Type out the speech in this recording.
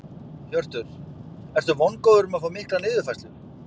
Hjörtur: Ertu vongóður um að fá mikla niðurfærslu?